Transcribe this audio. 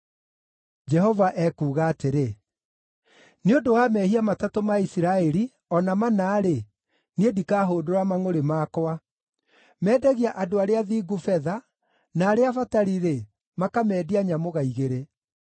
Jehova ekuuga atĩrĩ; “Nĩ ũndũ wa mehia matatũ ma Isiraeli, o na mana-rĩ, niĩ ndikahũndũra mangʼũrĩ makwa. Mendagia andũ arĩa athingu betha, na arĩa abatari-rĩ, makamendia nyamũga igĩrĩ.